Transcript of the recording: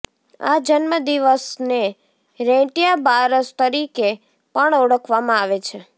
આ જન્મદિવસને રેંટિયા બારસ તરીકે પણ ઓળખવામાં આવે છે